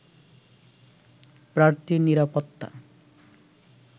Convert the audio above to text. প্রার্থীর নিরাপত্তা